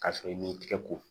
K'a sɔrɔ i m'i tigɛ ko